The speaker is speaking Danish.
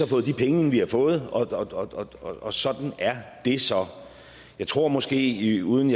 fået de penge vi har fået og sådan er det så jeg tror måske uden